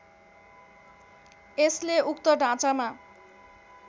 यसले उक्त ढाँचामा